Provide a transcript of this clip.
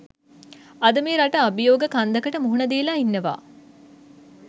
අද මේ රට අභියෝග කන්දකට මුහුණ දීලා ඉන්නවා